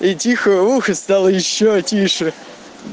и тихое ухо стало ещё тише